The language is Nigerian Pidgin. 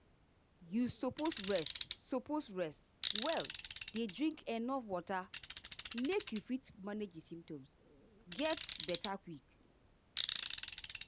you suppose rest suppose rest well dey drink enuf water make you fit manage di symptoms get beta quick.